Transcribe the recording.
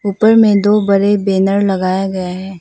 ऊपर में दो बड़े बैनर लगाया गया है।